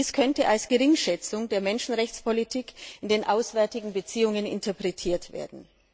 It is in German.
Dies könnte als Geringschätzung der Menschenrechtspolitik in den auswärtigen Beziehungen interpretiert werden.